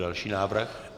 Další návrh.